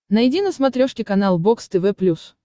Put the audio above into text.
найди на смотрешке канал бокс тв плюс